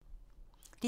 DR2